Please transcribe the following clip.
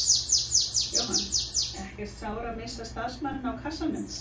Jóhann: Ekkert sár að missa starfsmanninn á kassanum?